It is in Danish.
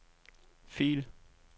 fil